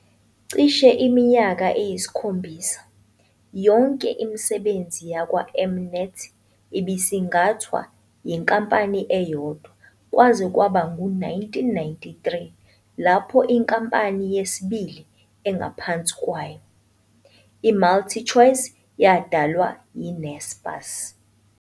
Cishe iminyaka eyisikhombisa, yonke imisebenzi yakwa-M-Net ibisingathwa yinkampani eyodwa kwaze kwaba ngu-1993 lapho inkampani yesibili engaphansi kwayo, iMultichoice, yadalwa yiNaspers.